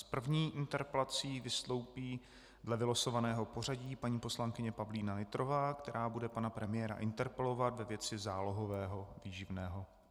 S první interpelací vystoupí dle vylosovaného pořadí paní poslankyně Pavlína Nytrová, která bude pana premiéra interpelovat ve věci zálohového výživného.